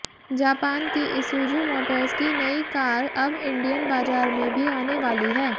Japan की Isuzu Motors की नई कार अब इंडियन बाजार में भी आने वाली है